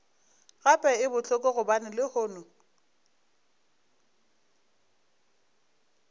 gape e bohloko gobane lehono